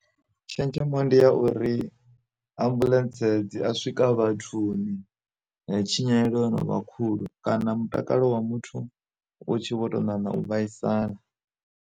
Tshenzhemo ndi ya uri, ambuḽentse dzi a swika vhathuni tshinyalelo yo novha khulu kana mutakalo wa muthu wo tshi vho tou ṋaṋa u vhaisala.